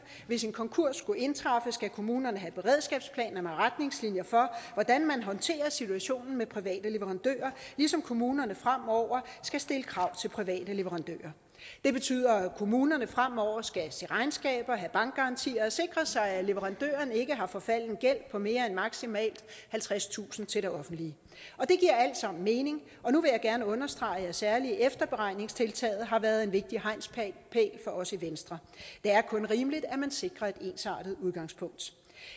hvis en konkurs skulle indtræffe skal kommunerne have beredskabsplaner med retningslinjer for hvordan man håndterer situationen med private leverandører ligesom kommunerne fremover skal stille krav til private leverandører det betyder at kommunerne fremover skal se regnskaber have bankgarantier og sikre sig at leverandørerne ikke har forfalden gæld på mere end maksimalt halvtredstusind kroner til det offentlige og det giver alt sammen mening nu vil jeg gerne understrege at særlig efterberegningstiltaget har været en vigtig hegnspæl for os i venstre det er kun rimeligt at man sikrer et ensartet udgangspunkt